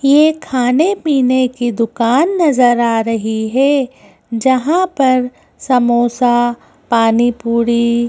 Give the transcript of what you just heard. ये खाने-पीने की दुकान नजर आ रही है जहां पर समोसा पानीपूरी--